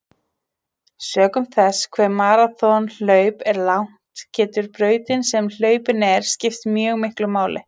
Sökum þess hve maraþonhlaup er langt getur brautin sem hlaupin er skipt mjög miklu máli.